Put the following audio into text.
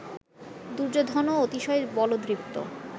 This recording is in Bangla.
দুর্যোধনও অতিশয় বলদৃপ্ত